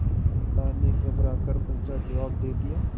माता ने घबरा कर पूछाजवाब दे दिया